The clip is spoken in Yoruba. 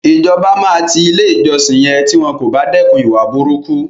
Ìjọba máa ti ilé ìjọsìn yẹn tí wọn kò bá dẹ́kun ìwà burúkú.